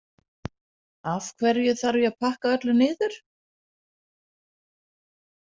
Af hverju þarf ég að pakka öllu niður?